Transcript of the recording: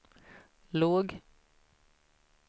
låg